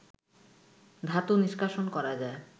ধাতু নিষ্কাশন করা যায়